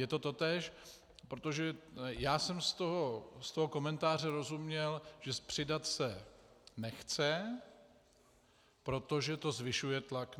Je to totéž, protože já jsem z toho komentáře rozuměl, že přidat se nechce, protože to zvyšuje tlak